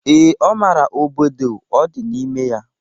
Ee, ọ mara obodo ọ dị n'ime ya.